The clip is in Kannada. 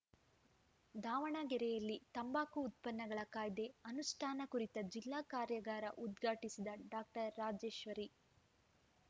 ದಾವಣಗೆರೆಯಲ್ಲಿ ತಂಬಾಕು ಉತ್ಪನ್ನಗಳ ಕಾಯ್ದೆ ಅನುಷ್ಠಾನ ಕುರಿತ ಜಿಲ್ಲಾ ಕಾರ್ಯಾಗಾರ ಉದ್ಘಾಟಿಸಿದ ಡಾಕ್ಟರ್ ರಾಜೇಶ್ವರಿ